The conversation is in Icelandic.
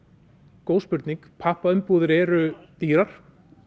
góð spurning pappaumbúðir eru dýrar